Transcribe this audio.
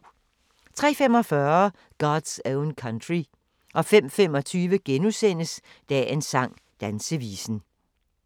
03:45: God's Own Country 05:25: Dagens sang: Dansevisen *